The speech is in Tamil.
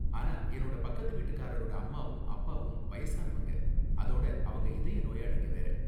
ஆனா என்னோட பக்கத்து வீட்டுக்காரரோட அம்மாவும் அப்பாவும் வயசானவங்க, அதோட அவங்க இதய நோயாளிங்க வேற.